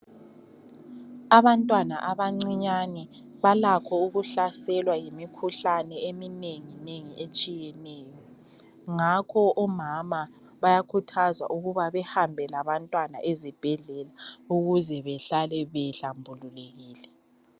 Abantwana abancinyane, balakho ukuhlaselwa yimikhuhlane eminengi nengi etshiyeneyo ngakho bayakhuthazwa ukuba bahambe labantwana ezibhedlela ukuze behlale behlambulukile.